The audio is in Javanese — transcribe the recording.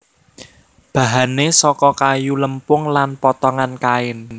Bahane saka kayu lempung lan potongan kain